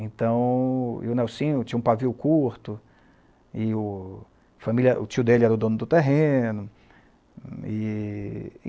Então... E o Nelcínio tinha um pavio curto, e o familia, o tio dele era o dono do terreno. E